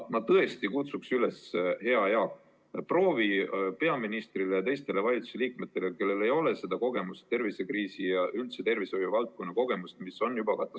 Ma tõesti kutsun üles, hea Jaak, proovi peaministrile ja teistele valitsusliikmetele, kellel ei ole tervisekriisi ja üldse tervishoiuvaldkonna kogemust,.